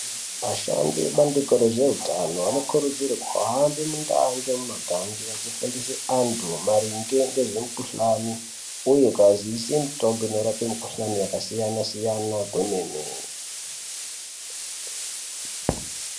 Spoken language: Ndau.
Vashandi vebandiko rezveutano vanokurudzirwa kuhamba mundau ngemundau vechifundisa anthu maringe ngezve mukuhlani uye kuavaziise mutombo inorapa mukuhlani yakasiyana siyana kwemene.